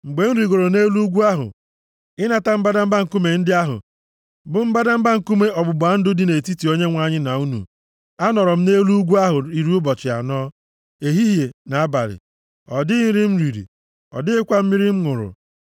Mgbe m rigooro nʼelu ugwu ahụ ịnata mbadamba nkume ndị ahụ bụ mbadamba nkume ọgbụgba ndụ dị nʼetiti Onyenwe anyị na unu, anọrọ m nʼelu ugwu ahụ iri ụbọchị anọ, ehihie na abalị, ọ dịghị nri m riri, ọ dịghịkwa mmiri m ṅụrụ.